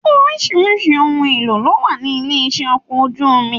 Oríṣiríṣi ohùn èlò ló wà ní ilé-iṣẹ́ ọkọ̀ ojú omi.